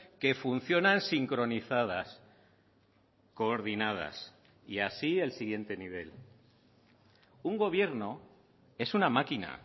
que funcionan sincronizadas coordinadas y así el siguiente nivel un gobierno es una máquina